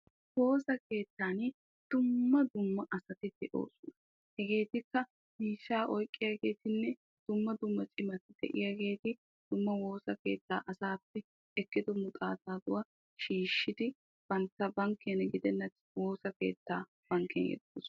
woosa keettan dumma dumma asti de'oosona. hegeetikka miishshaa oyiqqiyageetinne dumma dumma cimati de'iyaageeti dumma woosa keettaa asaappe ekkido muxaataaduwa shiishshidi bantta bankkiyan gidenna woosa keettaa bankkiyan yeggoosona.